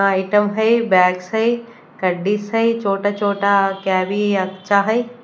Atom है bags है काफी शोटटा शोटटा आशा है।